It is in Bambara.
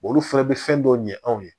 Olu fɛnɛ bɛ fɛn dɔw ɲɛ anw ye